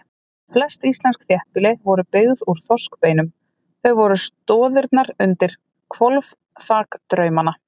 Flest íslensk þéttbýli voru byggð úr þorskbeinum, þau eru stoðirnar undir hvolfþak draumanna.